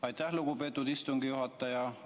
Aitäh, lugupeetud istungi juhataja!